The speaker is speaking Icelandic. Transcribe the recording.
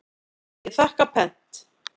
Ég þakka pent.